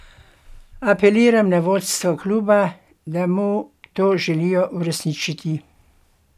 Apeliram na vodstvo kluba, da mu to željo uresniči.